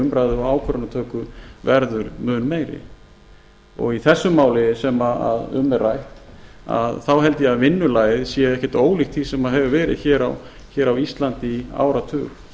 umræðu og ákvörðunartöku verður mun meiri í þessu máli sem um er rætt held ég að vinnulagið sé ekkert ólíkt því sem hefur verið hér á íslandi í áratug